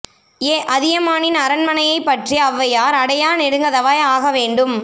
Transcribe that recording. எ அதியமானின் அரண்மனையைப் பற்றி ஓளவையாா் அடையா நெடுங்கதவாய் ஆக வேண்டும்